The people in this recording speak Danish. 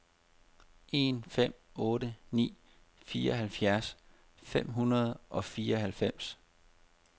en fem otte ni fireoghalvfjerds fem hundrede og fireoghalvfems